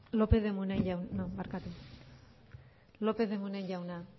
lópez de munain jauna